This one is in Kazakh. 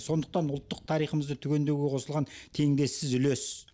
сондықтан ұлттық тарихымызды түгендеуге қосылған теңдессіз үлес